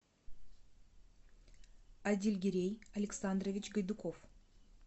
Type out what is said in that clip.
адильгерей александрович гайдуков